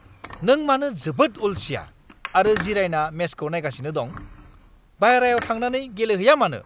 नों मानो जोबोद अलसिया आरो जिरायना मेचखौ नायगासिनो दं? बायह्रायाव थांनानै गेलेहैया मानो?